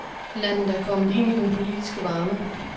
Landet er kommet ind i den politiske varme.